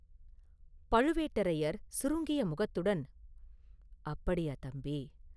பழுவேட்டரையர் சுருங்கிய முகத்துடன், “அப்படியா, தம்பி!